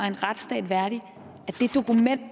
en retsstat værdigt